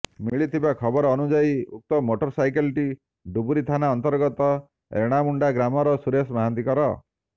ମିଳିଥିବା ଖବର ଅନୁଯାୟୀ ଉକ୍ତ ମୋଟରସାଇକେଲଟି ଡୁବୁରୀ ଥାନା ଅନ୍ତର୍ଗତ ରେଣାମୁଣ୍ଡା ଗ୍ରାମର ସୁରେଶ ମହାନ୍ତଙ୍କର